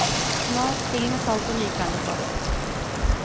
Smak til med salt og nykvernet svartpepper.